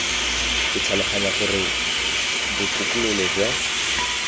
ke tlhaloganya gore botokololo jwa